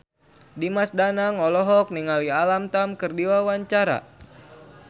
Dimas Danang olohok ningali Alam Tam keur diwawancara